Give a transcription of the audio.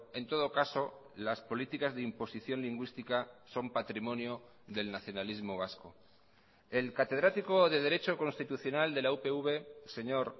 en todo caso las políticas de imposición lingüística son patrimonio del nacionalismo vasco el catedrático de derecho constitucional de la upv señor